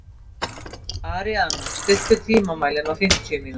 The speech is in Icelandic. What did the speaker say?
Aríaðna, stilltu tímamælinn á fimmtíu mínútur.